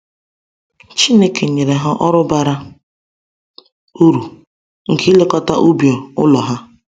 Chineke nyere ha ọrụ bara uru nke ilekọta ubi ụlọ ha.